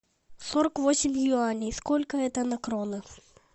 сорок восемь юаней сколько это на кроны